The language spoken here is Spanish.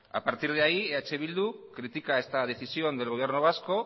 a partir de ahí eh bildu critica esta decisión del gobierno vasco